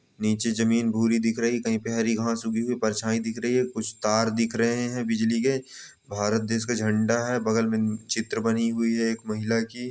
नीचे ज़मीन भूरी दिख रही कहीं पे हरी घाँस उगी हुई। परछाईं दिख रही कुछ तार दिख रहें हैं बिजली के। भारत देश का झंडा है बगल में न् चित्र बनी हुई है एक महिला की।